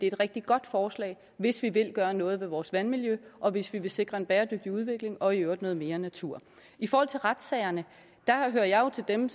et rigtig godt forslag hvis vi vil gøre noget ved vores vandmiljø og hvis vi vil sikre en bæredygtig udvikling og i øvrigt noget mere natur i forhold til retssagerne hører jeg jo til dem